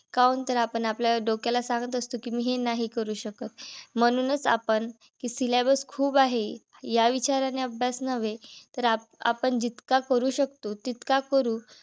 कावून तर आपण आपल्या डोक्याला सांगत असतो, कि मी हे नाही करू शकत. म्हणूनच आपण कि syllabus खूप आहे. या विचाराने अभ्यास नव्हे. तर आपण जितका करू शकतो तितका करू